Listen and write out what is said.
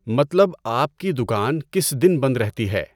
مطلب آپ کی دُکان کس دِن بند رہتی ہے؟